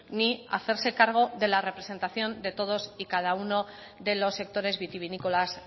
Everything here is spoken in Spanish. ni hacerse cargo de la representación de todos y cada uno de los sectores vitivinícolas